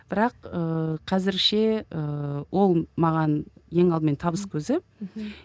бірақ ыыы қазірше ыыы ол маған ең алдымен табыс көзі мхм